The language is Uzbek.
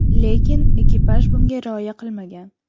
Lekin ekipaj bunga rioya qilmagan.